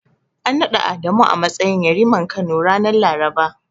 An naɗa Adamu a matsayin Yariman Kano, ranar Laraba.